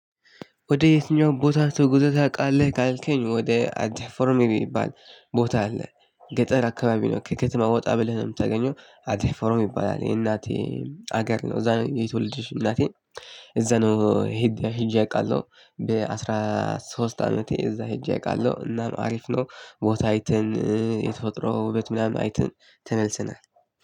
ወደ የትኛው ቦታ ተጉዘህ ታውቃለህ? ካልከኝ ወደ ዓዲ አሕፈሮም የሚባል ቦታ አለ ገጠር አካባቢ ነው ከከተማ ወጣ ብለህ ነው የምታገኘው ዓዲ አሕፈሮም ይባላል የእናቴ ሀገር ነው። እዛ ነው የተወለደች እናቴ እዛ ነው። ሄጄ አውቃለሁ በአስራ ሶስት አመቴ እዛ ሄጄ አውቃለሁ። እናንተ አሪፍ ነው ቦታ አይተን የተፈጥሮ ውበት ምናምን አይተን ተመልሰናል።